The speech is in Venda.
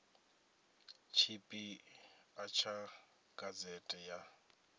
tshipi ḓa tsha gazete ya